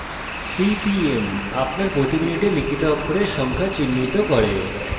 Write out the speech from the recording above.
cpmআপনার দ্বারা প্রতি minutes লিখিত অক্ষরের সংখ্যা চিহ্নিত করে